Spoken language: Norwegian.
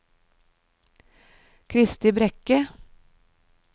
Kristi Brekke